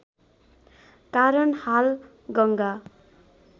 कारण हाल गङ्गा